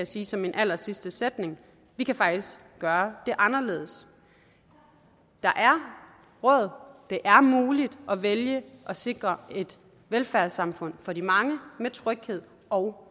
sige som min allersidste sætning vi kan faktisk gøre det anderledes der er råd det er muligt at vælge at sikre et velfærdssamfund for de mange med tryghed og